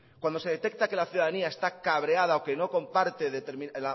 cuando se detecta que la ciudadanía está cabreada o que no comparte una